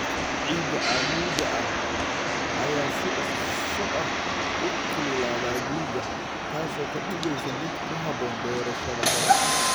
Ciida cammuudda ah ayaa si dhakhso ah u kululaada guga, taas oo ka dhigaysa mid ku habboon beerashada hore.